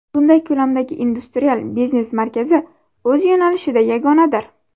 Bunday ko‘lamdagi industrial biznes markazi – o‘z yo‘nalishida yagonadir.